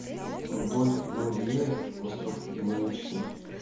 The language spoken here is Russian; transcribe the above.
рудольф нуреев остров его мечты